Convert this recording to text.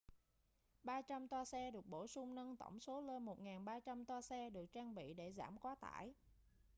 300 toa xe được bổ sung nâng tổng số lên 1300 toa xe được trang bị để giảm quá tải